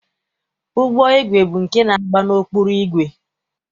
Ụgbọigwe bụ nke na-agba n'ọkpụrụ igwe.